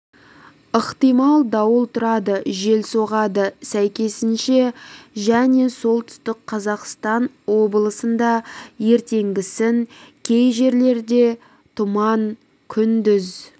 ықтимал дауыл тұрады жел соғады сәйкесінше және солтүстік қазақстан облысында ертеңгісін кей жерлерде тұман күндіз